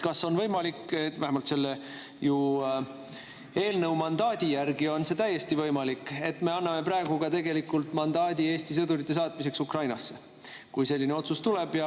Kas on võimalik – vähemalt selle eelnõuga mandaadi järgi on see täiesti võimalik –, et me anname praegu mandaadi ka Eesti sõdurite saatmiseks Ukrainasse, kui selline otsus tuleb?